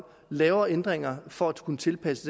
laver ændringer for at kunne tilpasse